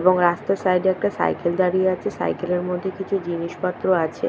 এবং রাস্তার সাইড এ একটা সাইকেল দাঁড়িয়ে আছে সাইকেলের মধ্যে কিছু জিনিসপত্র আছে